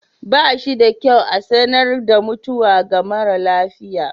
Ba shi da kyau a sanar da mutuwa ga mara lafiya.